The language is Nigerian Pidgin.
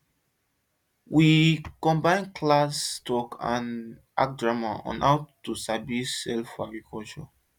we combine classroom talk and act drama on how to sabi sell for agriculture